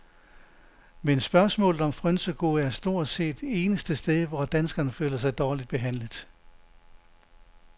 Men spørgsmålet om frynsegoder er stort set eneste sted, hvor danskerne føler sig dårligt behandlet.